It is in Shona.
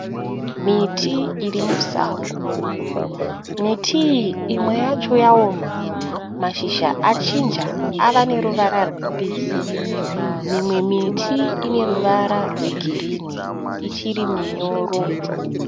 Miti irimusango, miti iyi imwe yacho yaoma, mashizha achinja ava neruvara rwe mbisi, mimwe miti ine ruvara rwe green ichiri runyoro.